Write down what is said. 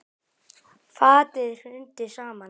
Fatið hrundi saman.